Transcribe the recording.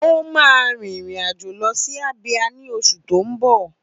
Ó máa rin ìrìn àjò lọ sí Abia ní oṣù tó ń bọ̀.